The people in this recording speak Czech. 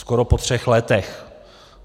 Skoro po třech letech.